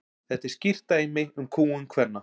þetta er skýrt dæmi um kúgun kvenna